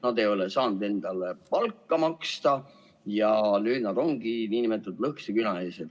Nad ei ole saanud endale palka maksta ja nüüd nad ongi nn lõhkise küna ees.